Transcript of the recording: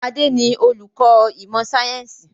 Adé ni olùkọ́ ìmọ̀ sayẹ́nsi